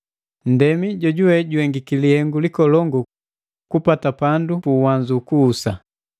Nndemi jojuwe juhengiki lihengu likolongu kupata pandu pu uwanzu ukuhusa.